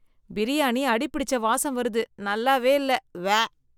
பிரியாணி அடிப்பிடிச்ச வாசம் வருது, நல்லாவே இல்ல, உவ்வே.